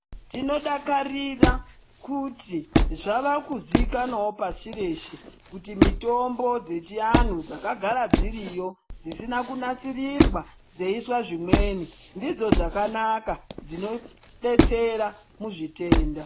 Tinodakarira kuti zvavakuzikanwawo pasi rese kuti mitombo dzechianhu dzakagara dziriyo dzisina kunasirirwa dzeiiswa zvimweni ndidzo dzakanaka dzinobetserwa muzvitenda.